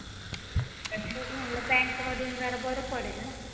तेच म्हणलं bankमधून जरा बरं पडेल ना.